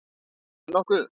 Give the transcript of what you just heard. Þú segir nokkuð.